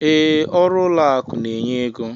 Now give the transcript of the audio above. Ee, ọrụ ụlọ akụ n'enye ego.